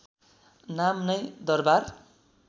नाम नै दरबार